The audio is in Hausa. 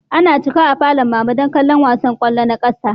Ana cika a falon mama don kallon wasan kwallo na ƙasa